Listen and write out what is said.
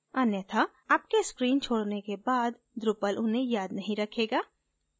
अन्यथा आपके screen छोडने के बाद drupal उन्हें याद नहीं रखेगा